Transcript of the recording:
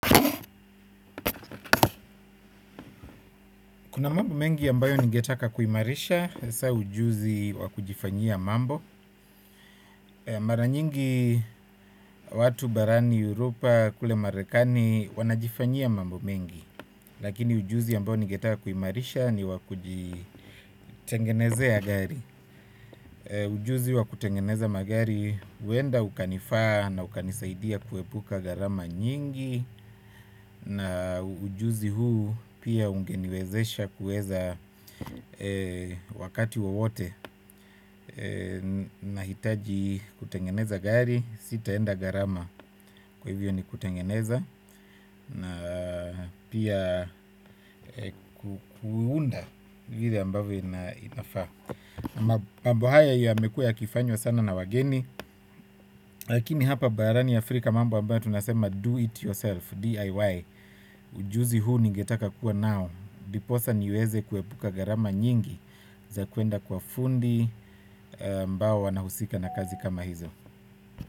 Kuna mambo mengi ambayo ningetaka kuimarisha, hasaa ujuzi wa kujifanyia mambo. Maranyingi watu barani Europa kule marekani wanajifanyia mambo mengi. Lakini ujuzi ambayo ningetaka kuimarisha ni wa kujitengenezea gari. Ujuzi wa kutengeneza magari huenda ukanifaa na ukanisaidia kuepuka gharama nyingi. Na ujuzi huu pia ungeniwezesha kuweza wakati wowote nahitaji kutengeneza gari. Sitaenda gharama kwa hivyo ni kutengeneza na pia kuunda vile ambavyo inafaa. Mambo haya yamekuwa yakifanywa sana na wageni. Lakini hapa barani Afrika mambo ambayo tunasema do it yourself DIY. Ujuzi huu ningetaka kuwa nao ndiposa niweze kuepuka gharama nyingi za kuenda kwa fundi ambao wanahusika na kazi kama hizo.